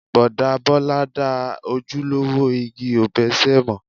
Bọ̀dá Bọ́lá dá ojúlówó igi òbéṣé mọ̀.